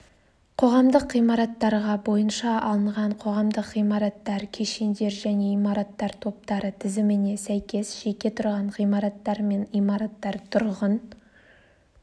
қоғамдық ғимараттарға бойынша алынған қоғамдық ғимараттар кешендер және имараттар топтары тізіміне сәйкес жеке тұрған ғимараттар мен имараттар тұрғын